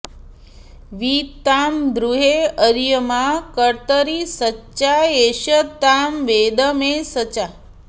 वि तां दु॑ह्रे अर्य॒मा क॒र्तरी॒ सचाँ॑ ए॒ष तां वे॑द मे॒ सचा॑